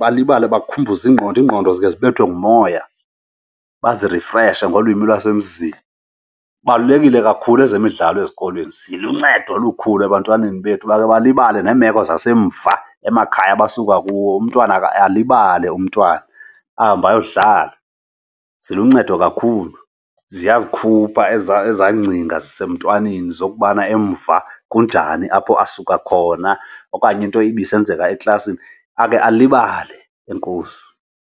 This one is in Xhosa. balibale. Bakhumbuze ingqondo, iingqondo zikhe zibethwe ngumoya, bazirefreshe ngolwimi lwasemzini. Kubalulekile kakhulu ezemidlalo ezikolweni, ziluncedo olukhulu ebantwaneni bethu bakhe balibale neemeko zasemva emakhaya abasuka kuwo. Umntwana alibale umntwana, ahambe ayodlala. Ziluncedo kakhulu, ziyazikhupha ezaa ezaa ngcinga zisemntwaneni zokubana emva kunjani apho asuka khona okanye into ibisenzeka eklasini, akhe alibale. Enkosi.